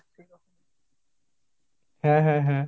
হাঁ, হাঁ, হাঁ।